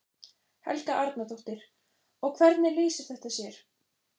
Helga Arnardóttir: Og hvernig lýsir þetta sér?